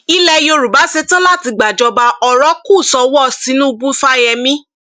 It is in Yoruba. ilẹ yorùbá ṣetán láti gbàjọba ọrọ kù sọwọ tinubu fáyemí